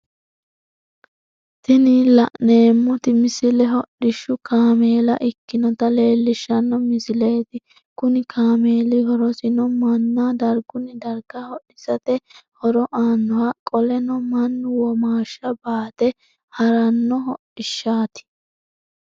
Tinni la'neemoti misile hodhishu kaameella ikinota leelishano misileeti kunni kaameeli horosino manna dargunni darga hodhisate horo aanoho qoleno Manu womaasha baate harano hodhishaati.